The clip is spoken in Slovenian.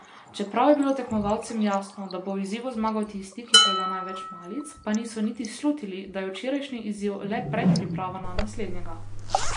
Čeprav je bilo tekmovalcem jasno, da bo v izzivu zmagal tisti, ki proda največ malic, pa niso niti slutili, da je včerajšnji izziv le predpriprava na naslednjega.